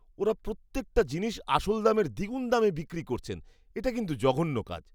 ওঁরা প্রত্যেকটা জিনিস আসল দামের দ্বিগুণ দামে বিক্রি করছেন। এটা কিন্তু জঘন্য কাজ।